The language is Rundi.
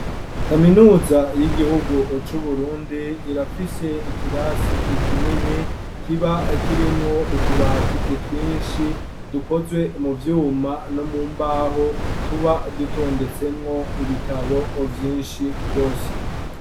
Kaminuza y'igihugu cu Burundi irafise ikirasi kinini kiba kirimwo utubati twishi dukozwe mu vyuma no mumbaho tuba dutondetsemwo ibitabo vyinshi rwose